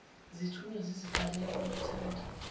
zithunywa ziziqalela kwamathanda